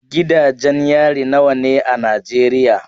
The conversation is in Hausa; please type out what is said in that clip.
Gidajen yari nawa ne a Najeriya?